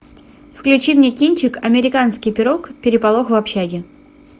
включи мне кинчик американский пирог переполох в общаге